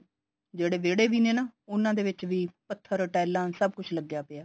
ਜਿਹੜੇ ਵਿਹੜੇ ਵੀ ਨੇ ਨਾ ਉਹਨਾ ਦੇ ਵਿੱਚ ਵੀ ਪੱਥਰ ਟਾਈਲਾ ਸਭ ਕੁੱਛ ਲੱਗਿਆ ਪਿਆ